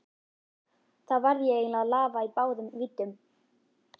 Þá varð ég eiginlega að lafa í báðum víddum.